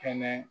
Kɛnɛ